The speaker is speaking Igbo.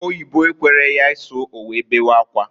Oyibo ekwere ya isu, owee bewe akwa.